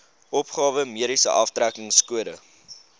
opgawe mediese aftrekkingskode